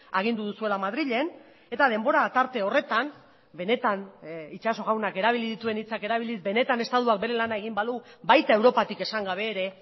agindu duzuela madrilen eta denbora tarte horretan benetan itxaso jaunak erabili dituen hitzak erabiliz benetan estatuak bere lana egin balu baita europatik esan gabe ere